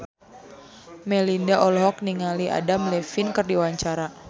Melinda olohok ningali Adam Levine keur diwawancara